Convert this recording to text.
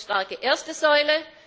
Wir brauchen eine starke erste Säule.